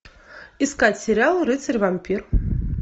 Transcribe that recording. искать сериал рыцарь вампир